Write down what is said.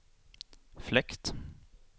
fläkt